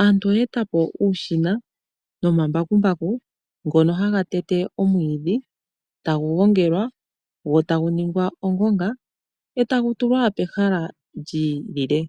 aantu oye etapo uushina nomambakumbaku ngono haga tete omwiidhi tagu gongelwa go tagu ningwa ongonga e tagu tulwa pehala lyiilile.